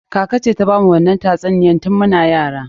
Kaka ce ta bamu wannan tatsuniyan tun muna yara.